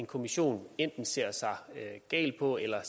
kommissionen enten ser sig gal på eller